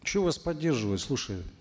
что вас поддерживать слушай